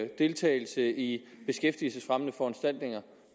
deltagelse i beskæftigelsesfremmende foranstaltninger